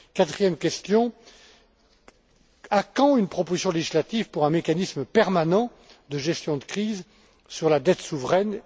Quatrième question à quand une proposition législative pour un mécanisme permanent de gestion de crise sur la dette souveraine?